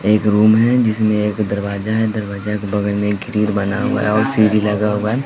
एक रूम है जिसमें एक दरवाजा है दरवाजा के बगल में एक ग्रिल बना हुआ है और सीढ़ी लगा हुआ है।